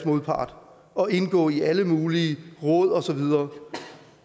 modpart og indgå i alle mulige råd og så videre